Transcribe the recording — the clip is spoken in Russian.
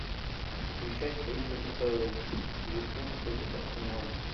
включай встречу апл ливерпуль против арсенала